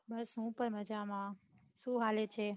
બસ હું પન મજામાં હું હાલે છે